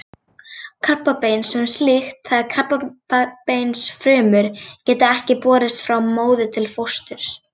Krabbamein sem slíkt, það er krabbameinsfrumur, geta ekki borist frá móður til fósturs.